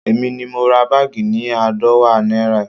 Èmi ni mo ra báàgì ni aadọwa náírà